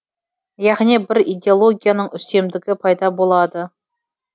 яғни бір идеологияның үстемдігі пайда болады